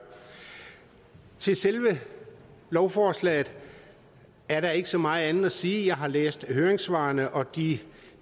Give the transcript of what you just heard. til selve lovforslaget er der ikke så meget at sige jeg har læst høringssvarene og de